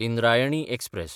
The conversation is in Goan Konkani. इंद्रायणी एक्सप्रॅस